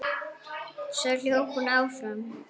Svo hljóp hún áfram.